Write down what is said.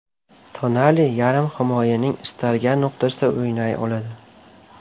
Tonali yarim himoyaning istalgan nuqtasida o‘ynay oladi.